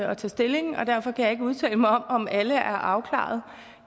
og tage stilling og derfor kan jeg ikke udtale mig om om alle er afklaret